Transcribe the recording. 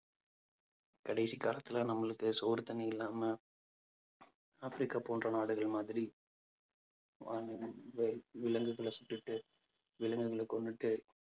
கடைசி காலத்துல நம்மளுக்கு சோறு தண்ணி இல்லாம ஆப்பிரிக்கா போன்ற நாடுகள் மாதிரி விலங்குகளை சுட்டுட்டு விலங்குகளை கொன்னுட்டு